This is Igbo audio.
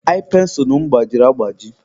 ai pensụlụ m gbajiri agbaji.